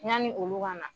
Yanni olu ka na